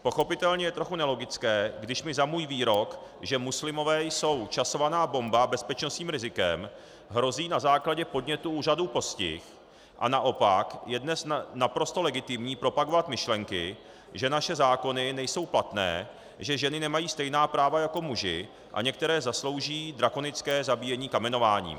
Pochopitelně je trochu nelogické, když mi za můj výrok, že muslimové jsou časovaná bomba, bezpečnostním rizikem, hrozí na základě podnětu úřadů postih, a naopak je dnes naprosto legitimní propagovat myšlenky, že naše zákony nejsou platné, že ženy nemají stejná práva jako muži a některé zaslouží drakonické zabíjení kamenováním.